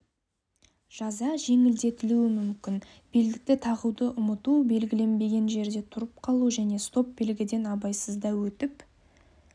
жаза жеңілдетілуі мүмкін белдікті тағуды ұмыту белгілінбеген жерде тұрып қалу және стоп белгіден абайсызда өтіп